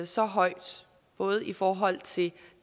så højt både i forhold til